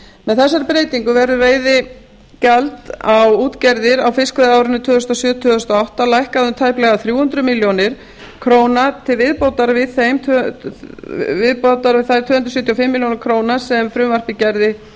með þessari breytingu verður veiðigjald á útgerðir á fiskveiðiárinu tvö þúsund og sjö tvö þúsund og átta lækkað um tæplega þrjú hundruð milljóna króna til viðbótar þeim tvö hundruð sjötíu og fimm milljónir króna sem frumvarpið gerði